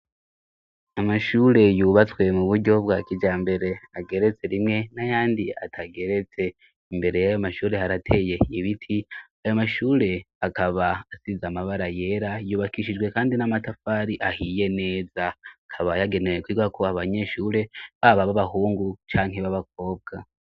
Amashure yubatswe mu buryo bwa kijambere ageretse rimwe n'ayandi atageretse imbere y'ayo mashure harateye ibiti. Ayo mashure akaba asize amabara yera yubakishijwe kandi n'amatafari ahiye neza, akaba yagenewe kwigwako abanyeshure baba b'abahungu canke b'abakobwa.